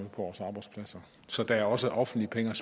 vores arbejdspladser så der er også offentlige penge